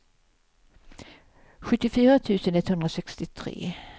sjuttiofyra tusen etthundrasextiotre